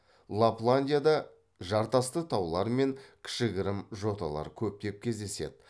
лапландияда жартасты таулар мен кішігірім жоталар көптеп кездеседі